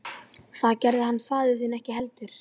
Það gerði hann faðir þinn ekki heldur.